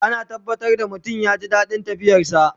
Ana tabbatar da mutum ya ji daɗin tafiyar sa